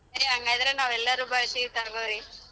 ಸರೆ ಹಂಗಾದ್ರೆ ನಾವ್ ಎಲ್ಲಾರು ಬರತೀವ್ ತಗೋರಿ.